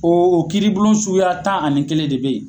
Oo o kiiribulon suguya tan ani kelen de be yen.